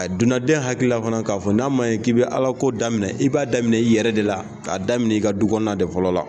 dunanden hakilila fana k'a fɔ, n'a ma ɲɛ k'i bi Ala ko daminɛ, i b'a daminɛ i yɛrɛ de la, k'a daminɛ i ka du kɔnɔna de fɔlɔ la.